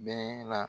Bɛɛ la